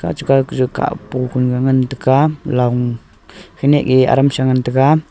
achu kanu kah po kanuga ngan tega long khenyeh yeh aram sha ngan tega.